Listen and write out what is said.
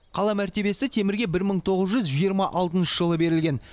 қала мәртебесі темірге бір мың тоғыз жүз жиырма алтыншы жылы берілген